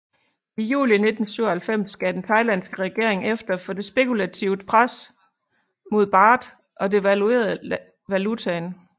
I juli 1997 gav den thailandske regering efter for spekulativt pres mod baht og devaluerede valutaen